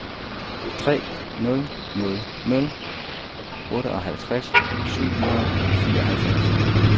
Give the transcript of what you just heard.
tre nul nul nul otteoghalvtreds syv hundrede og fireoghalvfems